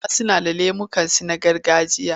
Hausawa suna da lemukansu na gargajiya.